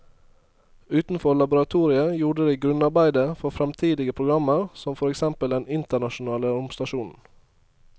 Utenfor laboratoriet gjorde de grunnarbeidet for fremtidige programmer som for eksempel den internasjonale romstasjonen.